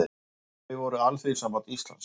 Þau voru Alþýðusamband Íslands